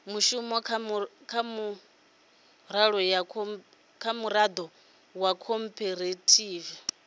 mushumo kha miraḓo ya khophorethivi